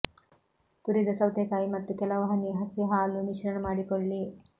ತುರಿದ ಸೌತೆಕಾಯಿ ಮತ್ತು ಕೆಲವು ಹನಿ ಹಸಿ ಹಾಲು ಮಿಶ್ರಣ ಮಾಡಿಕೊಳ್ಳಿ